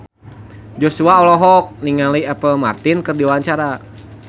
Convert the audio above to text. Joshua olohok ningali Apple Martin keur diwawancara